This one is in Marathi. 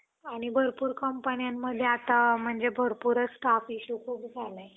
आणि भरपूर कंपन्यांमध्ये आता भरपूर staff issue खूप झालाय.